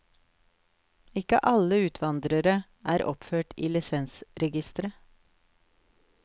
Ikke alle utvandrere er oppført i lisensregisteret.